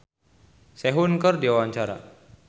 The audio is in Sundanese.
Tulus olohok ningali Sehun keur diwawancara